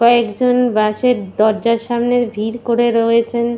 কয়েকজন বাস এর দরজার সামনে ভিড় করে রয়েছেন।